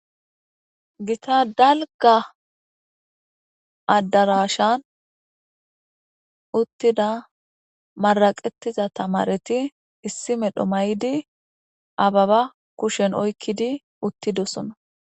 gita dalga addarashan uttida maraqettiza tamareti issi medho may7di ababa kushen oykkidi uttidosona